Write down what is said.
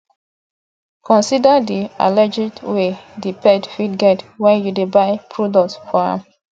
consider di allergies wey di pet fit get when you dey buy product for am